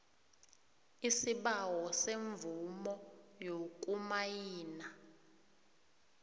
isibawo semvumo yokumayina